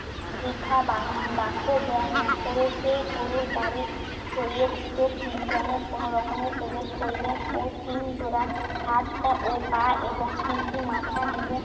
বৃথা বা~ বাক্য ব্যয় না করে সেই গরুর গাড়ির ছইয়ের ভেতর তিনজনে কোনরকমে প্রবেশ করবেন ও তিন জোরা হাত পা ও পা এবং তিনটি মাথা নিয়ে